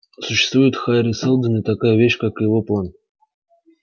существует хари сэлдон и такая вещь как его план